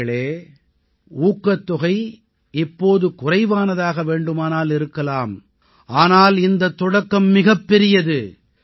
நண்பர்களே ஊக்கத்தொகை இப்போது குறைவானதாக வேண்டுமானால் இருக்கலாம் ஆனால் இந்தத் தொடக்கம் மிகப் பெரியது